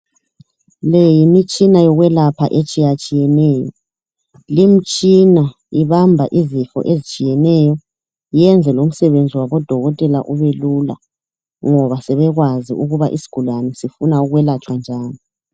Le yimitshina yokwelapha etshiyatshiyeneyo. Limtshina ibamba izifo ezitshiyeneyo yenze lomsebenzi wabodokotela ube lula ngoba sebekwazi ukuba isigulane sifuna ukwelatshwa njani.